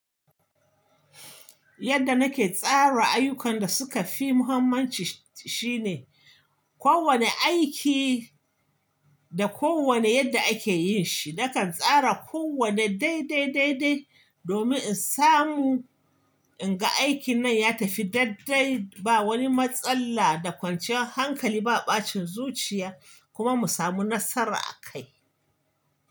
Yadda nake tsara ayyukan da suka fi muhimmanci shine kowane aiki da kowane yadda ake yin shi, nakan tsara kowane daidai, daidai, daidai domin in samu in ga aikin nan ya tafi daddai ba wani matsala da kwanciyar hankali ba ɓacin zuciya kuma mu samu nasara akai.